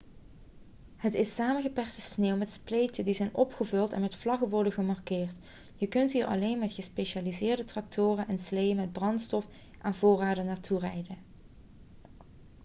het is samengeperste sneeuw met spleten die zijn opgevuld en met vlaggen worden gemarkeerd je kunt hier alleen met gespecialiseerde tractoren en sleeën met brandstof en voorraden naartoe rijden